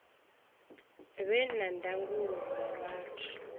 vhe na ndangulo nga vhathu